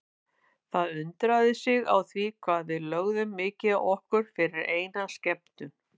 Það undraði sig á því hvað við lögðum mikið á okkur fyrir eina skemmtun.